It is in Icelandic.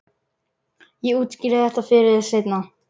Ég útskýri þetta fyrir þér seinna.